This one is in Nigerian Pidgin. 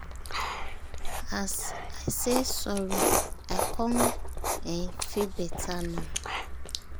as i say sorry i con um feel better um now